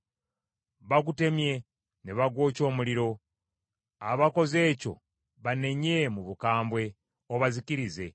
Bagutemye, ne bagwokya omuliro; abakoze ekyo banenye mu bukambwe, obazikirize.